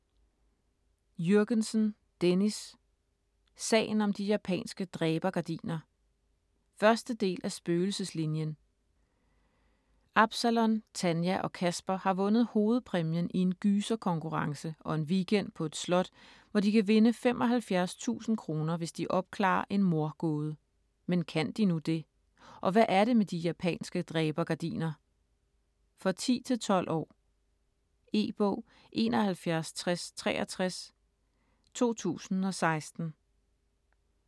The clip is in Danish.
Jürgensen, Dennis: Sagen om de japanske dræbergardiner 1. del af Spøgelseslinien. Absalon, Tanja og Kasper har vundet hovedpræmien i en gyserkonkurrence og en weekend på et slot, hvor de kan vinde 75.000 kr. hvis de opklarer en mordgåde. Men kan de nu det? Og hvad er det med de japanske dræbergardiner? For 10-12 år. E-bog 716063 2016.